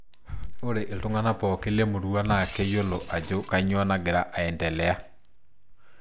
Ore iltung'ana pooki lemurua naakeyiolo ajo kanyioo nagira aendelea.